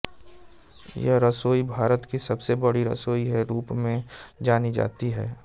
यह रसोई भारत की सबसे बड़ी रसोई के रूप में जानी जाती है